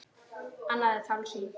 Annað er tálsýn.